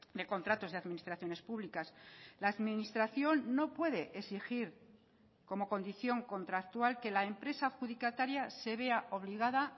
de contratos de administraciones públicas la administración no puede exigir como condición contractual que la empresa adjudicataria se vea obligada